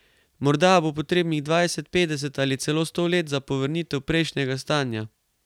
Morda bo potrebnih dvajset, petdeset ali celo sto let za povrnitev prejšnjega stanja.